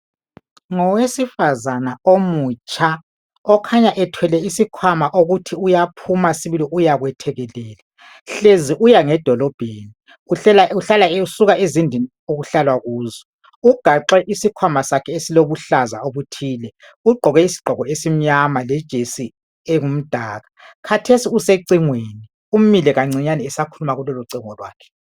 Ngowesifazana omutsha okukhanya ethwele isikhwama okokuthi uyaphuma sibili uyakwethekelela hlezi uya ngedolobheni usuka ezindlini okuhlalwa kuzo ugaxe isikhwama sakhe esilobuhlaza obuthile ugqoke isigqoko esimnyama lejesi engumdaka khathesi usecingweni umile kancinyane esakhuluma kulolo cingo lwakhe